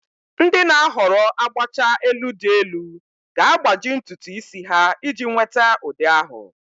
Ndị na-ahọrọ agbacha elu dị elu ga-agbaji ntutu isi ha iji nweta ụdị ahụ.